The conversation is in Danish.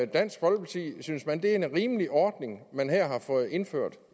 dansk folkeparti synes man det er en rimelig ordning man her har fået indført